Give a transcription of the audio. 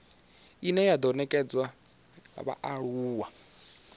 ine ya do nekedzwa vhaaluwa